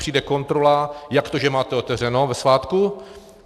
Přijde kontrola - jak to, že máte otevřeno ve svátku?